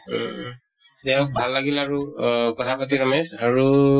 উম দিয়া ভাল লাগিলে আৰু আ কথা পাতি মানে আৰু